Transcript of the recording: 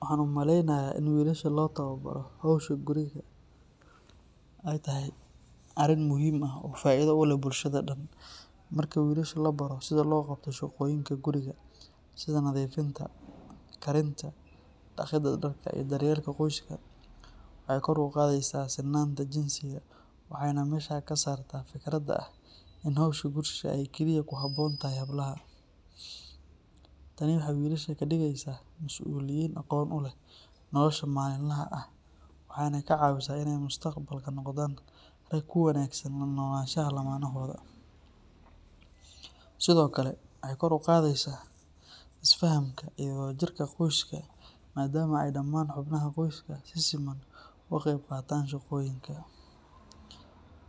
Waxan umaleynaya in wiasha lotawabaro howsh guriga y tahay ariin muxiim ah oo faida uleh bulshada dan, marka wilasha labaro sidha logabto shagoyinka guriga sida nadifinta karinta iyo daryel goyska waxay kor ugadka jinsiga, waxayna mesha fikrada ah in xowsh guriga ay kaiye kuhabontahay hablaha, taani waxay wilasha kadigrysa masuliyiin aqoon u leh nolosha malin laha ah, waxayna kacawisa in mustaqbalka nogdo rag uguwanagsan lanoashaha pamanahoda, Sidhokale waxay kor ugadeysa idfahamka iyo wada jirka qoyska madama y daman hubnaha qoyska si simaan oga geb gatan shagoyinka,